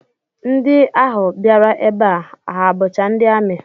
Ndị ahụ bịara ebe a ha bụcha ndị amị?